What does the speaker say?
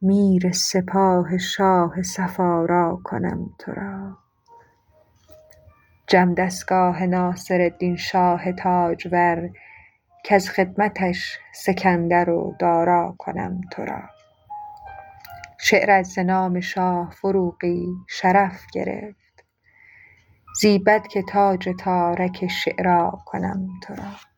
میر سپاه شاه صف آرا کنم تو را جم دستگاه ناصردین شاه تاجور کز خدمتش سکندر و دارا کنم تو را شعرت ز نام شاه فروغی شرف گرفت زیبد که تاج تارک شعرا کنم تو را